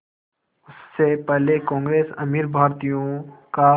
उससे पहले कांग्रेस अमीर भारतीयों का